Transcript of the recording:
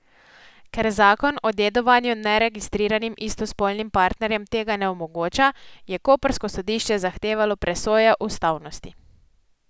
Ker zakon o dedovanju neregistriranim istospolnim partnerjem tega ne omogoča, je koprsko sodišče zahtevalo presojo ustavnosti.